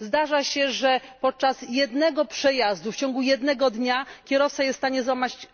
Zdarza się, że podczas jednego przejazdu, w ciągu jednego dnia kierowca jest w stanie